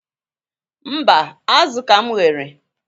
Mba, azụ ka m ghere.